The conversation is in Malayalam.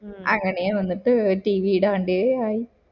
അങ്ങനെ വന്നിട്ട് tv ഇടാണ്ടേ ആയി